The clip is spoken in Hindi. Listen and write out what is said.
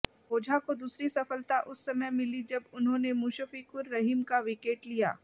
ओझा को दूसरी सफलता उस समय मिली जब उन्होंने मुशफ़िक़ुर रहीम का विकेट लिया